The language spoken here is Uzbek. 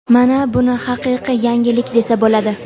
Mana buni haqiqiy yangilik desa bo‘ladi‼.